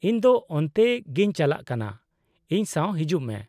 -ᱤᱧ ᱫᱚ ᱚᱱᱛᱮ ᱜᱮᱧ ᱪᱟᱞᱟᱜ ᱠᱟᱱᱟ, ᱤᱧ ᱥᱟᱶ ᱦᱤᱡᱩᱜ ᱢᱮ ᱾